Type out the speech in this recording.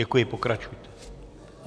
Děkuji, pokračujte.